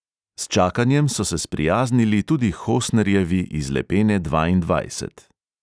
S čakanjem so se sprijaznili tudi hosnerjevi iz lepene dvaindvajset.